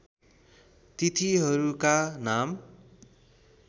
तिथिहरूका नाम